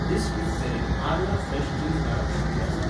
This वीकमेरेन आरला fresh चीज मेळप शक्य आसा ?